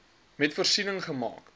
wet voorsiening gemaak